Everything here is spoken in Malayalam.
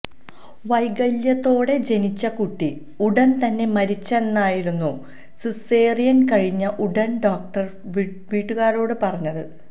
വൈകല്യത്തോടെ ജനിച്ച കുട്ടി ഉടന് തന്നെ മരിച്ചെന്നായിരുന്നു സിസേറിയന് കഴിഞ്ഞ ഉടന് ഡോക്ടര് വീട്ടുകാരോട് പറഞ്ഞത്